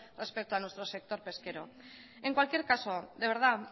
respecto a nuestro sector pesquero en cualquier caso de verdad